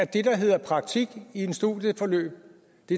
det der hedder praktik i et studieforløb